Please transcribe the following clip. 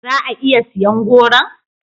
Za a iya siyan goron?